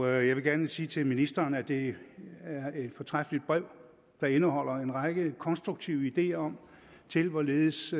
jeg vil gerne sige til ministeren at det er et fortræffeligt brev der indeholder en række konstruktive ideer til hvorledes